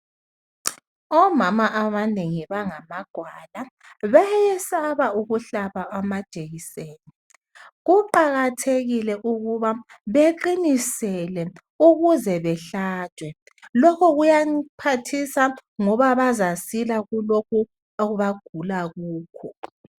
Omama abanengi bangamagwala bayesaba ukuhlaba amajekiseni kuqakathekile ukuba beqinisele ukuze bahlatshwe lokhu kuyabaphathisa ngoba bazasila kulokhu abagula kukho